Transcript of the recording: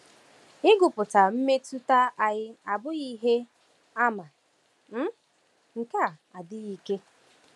Ịgụpụta mmetụta anyị abụghị ihe àmà um nke um adịghị ike.